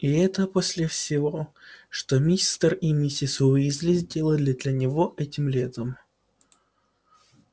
и это после всего что мистер и миссис уизли сделали для него этим летом